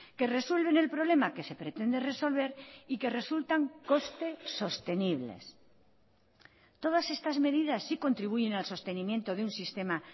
que resuelven el problema que se pretende resolver y que resultan costes sostenibles todas estas medidas sí contribuyen al sostenimiento de un sistema